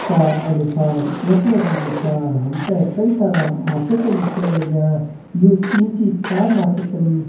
का अनुसार यखमा जी जो छा हमते कई सारा माच्छा छन दिख्येण लाग्यां यो तीन सी चार माच्छा छन।